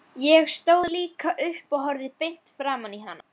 Ég stóð líka upp og horfði beint framan í hana.